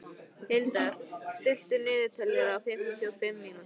Hildar, stilltu niðurteljara á fimmtíu og fimm mínútur.